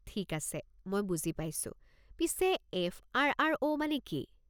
ঠিক আছে, মই বুজি পাইছোঁ। পিছে, এফ.আৰ.আৰ.অ'. মানে কি?